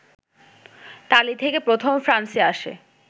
তালী থেকে প্রথম ফ্রান্সে আসে